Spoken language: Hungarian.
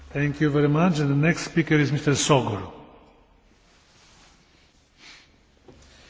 Romániában az idei év végéig a kormány át szeretné alakítani az ország közigazgatási beosztását.